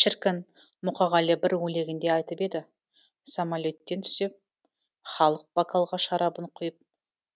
шіркін мұқағали бір өлеңінде айтып еді самалеттен түссем халық бокалға шарабын құйып